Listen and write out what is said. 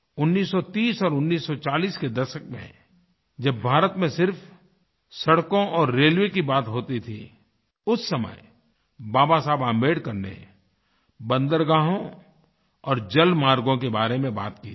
1930 और 1940 के दशक में जब भारत में सिर्फ सड़कों और रेलवे की बात होती थी उस समय बाबा साहब आम्बेडकर ने बंदरगाहों और जलमार्गों के बारे में बात की थी